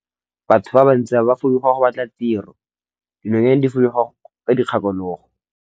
Batho ba bantsi ba fuduga go batla tiro, dinonyane di fuduga ka dikgakologo.